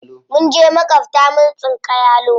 Mun je maƙwabta mun tsinka yalo.